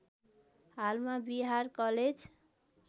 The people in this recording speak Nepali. हालमा बिहार कलेज